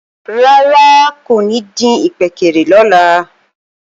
Rárá kò ní dín ìkpékeré lọ́la